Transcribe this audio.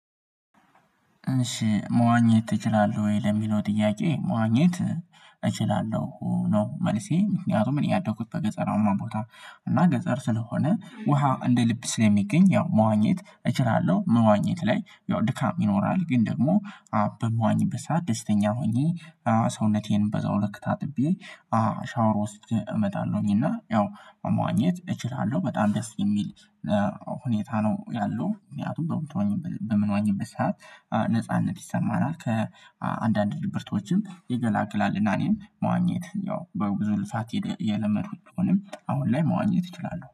እሺ መዋኘት ትችላለህ ወይ? ለሚለው ጥያቄ መዋኘት እችላለሁ ነው። መልሴ ምክንያቱም እኔ ያደኩት በገጠር አማ ቦታ እና ገጠር ስለሆነ ውሃ እንደ ልብ ስለሚገኝ ያው መዋኘት እችላለሁ። መዋኘት ላይ ያው ድካም ይኖራል ግን ደግሞ በምዋኘበት ሰዓት ደስተኛ ሆኜ ሰውነቴን በዛው ልክ ታጥቤ ሻወር ውስጥ እመጣለሁኝ። እና ያው መዋኘት እችላለሁ በጣም ደስ የሚል ሁኔታ ነው ያለው። ምክንያቱም በምንዋኘበት ሰዓት ነጻነት ይሰማናል ከአንዳንድ ድብርቶችም ይገላግላል። እና እኔም መዋኘት ያው በብዙ ልፋት የለመድኩት ቢሆንም አሁን ላይ መዋኘት እችላለሁ